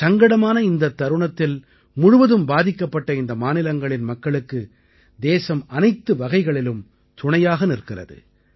சங்கடமான இந்தத் தருணத்தில் முழுவதும் பாதிக்கப்பட்ட இந்த மாநிலங்களின் மக்களுக்கு தேசம் அனைத்து வகைகளிலும் துணையாக நிற்கிறது